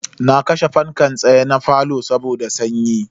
Na kashe fankan tsaye na falo saboda sanyi.